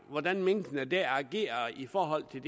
hvordan minkene der agerer i forhold til